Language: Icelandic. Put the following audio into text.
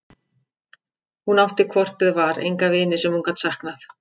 Hún átti hvort eð var enga vini sem hún gat saknað.